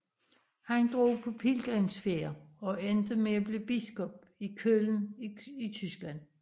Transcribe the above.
Han drog på pilgrimsfærd og endte med at blive biskop i Køln i Tyskland